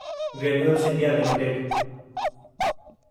granules India limited